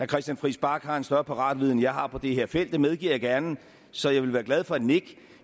christian friis bach har en større paratviden end jeg har på det her felt det medgiver jeg gerne så jeg ville være glad for et nik